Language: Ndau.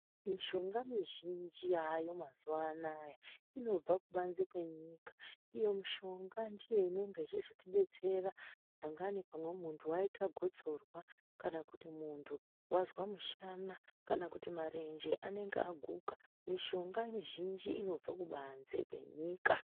Mishonga mizhinji yayo mazuwa anaya inobva kubanze kwenyika iyo mishonga ndoine ichizotibetsera pamweni muntu waita gotsorwa kana kuti muntu wazwamushanà kana kuti marenje anenge aguka mishonga mizhinji inobva kubanze kwenyika.